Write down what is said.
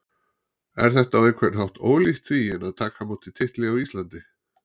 Er þetta á einhvern hátt ólíkt því en að taka á móti titli á Íslandi?